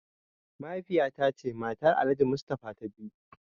Mahaifiya ta ce matar Alhaji mustafa ta biyu.